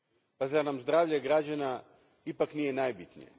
Pa zar nam zdravlje građana ipak nije najbitnije?